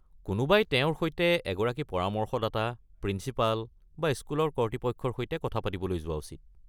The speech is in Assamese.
কোনোবাই তেওঁৰ সৈতে এগৰাকী পৰামৰ্শদাতা, প্ৰিঞ্চিপাল বা স্কুলৰ কৰ্তৃপক্ষৰ সৈতে কথা পাতিবলৈ যোৱা উচিত।